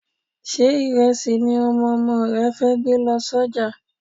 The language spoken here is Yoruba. Ṣé ìrẹsì ni Ọmọ ọmọ rẹ fẹ́ gbé lọ sọ́jà?